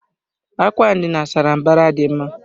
Àkwà ndina sárá mbara dị mma.